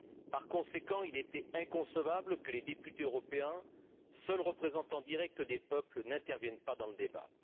Par conséquent, il était inconcevable que les députés européens, seuls représentants directs des peuples, n'interviennent pas dans le débat.